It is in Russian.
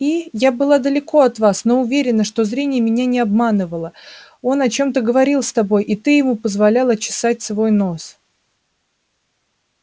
и я была далеко от вас но уверена что зрение меня не обманывало он о чем-то говорил с тобой и ты ему позволяла чесать свой нос